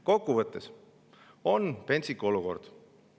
Kokkuvõttes on pentsik olukord.